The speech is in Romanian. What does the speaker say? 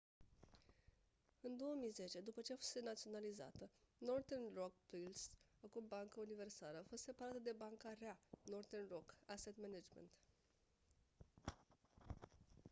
în 2010 după ce fusese naționalizată northern rock plc acum bancă universală a fost separată de banca rea” northern rock asset management